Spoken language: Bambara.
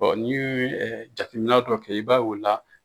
N'i ye jateminɛ dɔ kɛ i b'a ye o la